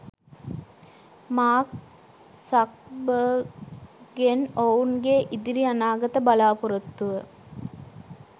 Mark සක්බර්ග්ගෙන් ඔවුන්ගේ ඉදිරි අනාගත බලාපොරොත්තුව